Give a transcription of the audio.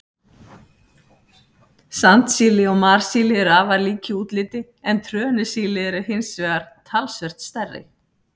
Sandsíli og marsíli eru afar lík í útliti, en trönusíli eru hins vegar talsvert stærri.